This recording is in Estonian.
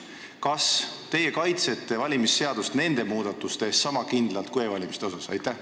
Kas teie kaitsete valimisseadusi nende muudatuste eest sama kindlalt kui e-valimise asjus?